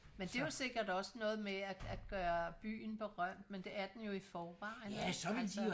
Men det jo sikkert også noget med at at gøre byen berømt men det er den jo i forvejen ikke altså